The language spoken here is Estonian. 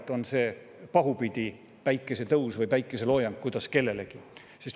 See on see pahupidi päikesetõus või päikeseloojang, kuidas kellelegi.